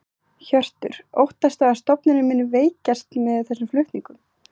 Hjörtur: Óttastu að stofnunin muni veikjast með þessum flutningum?